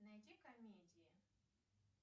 найди комедии